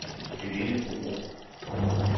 Helene Borup